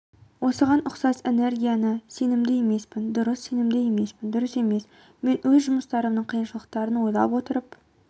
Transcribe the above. осыған ұқсас энергиялы сенімді емеспін дұрыс сенімді емеспін дұрыс емес мен өз жұмыстарымның қиыншылықтарын ойлай отырып